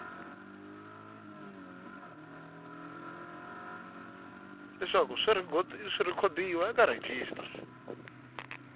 leswaku swi rhekhodiwa eka rejistara